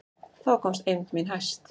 Þá komst eymd mín hæst.